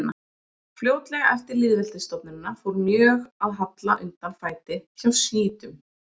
Fljótlega eftir lýðveldisstofnunina fór mjög að halla undan fæti hjá sjítum.